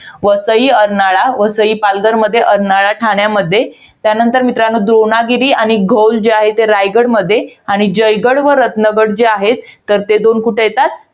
वसई, अर्नाळा. वसई पालघरमध्ये, अर्नाळा ठाण्यामध्ये. त्यानंतर मित्रांनो, द्रोणागिरी आणि घौल जे आहेत ते रायगडमध्ये आणि जे जयगड व रत्नगड जे आहेत. ते दोन कुठे येतात?